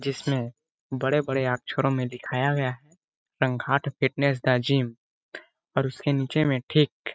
जिसमें बड़े-बड़े अक्षरों में दिखाया गया है संघाट फिटनेस द जिम और उसके नीचे में ठीक--